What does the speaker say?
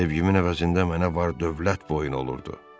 Sevgimin əvəzində mənə var-dövlət boyun olurdu.